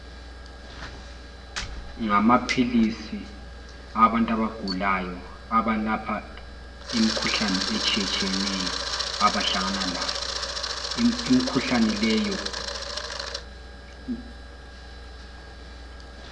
Ngamaphilisi abantu abagulayo abalapha imikhuhlane etshiyetshiyeneyo. Abahlangana layo. Imikhuhlane leyo...